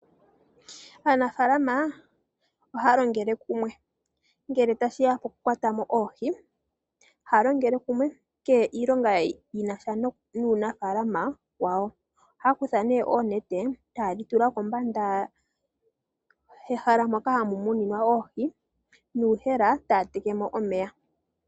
Aanafaalama ohaya longele kumwe ngele tashiya kokukwata mo oohi. Haya longele kumwe mukehe iilonga shina sha nuunafaalama wawo. Ohaya kutha nee oonete etaye dhi tula kombanda hoka haku muninwa oohi nuuyemele taya teke mo omeya.